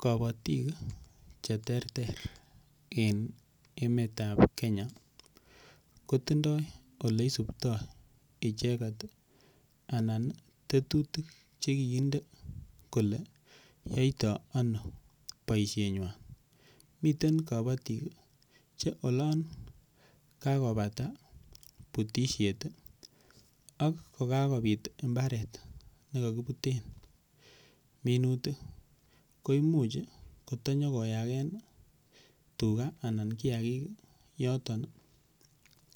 Kobotik che ter ter eng emet ap Kenya ko tindoi oleisuptoi icheket anan tetutik chekikinde kole yoitoo ano boishenywan miten kobotik che olon kakobata butishet ak kokakobit imbaret nikakibiten minutik koimuch kotonyokoyaken tuga ana kiyakik yoton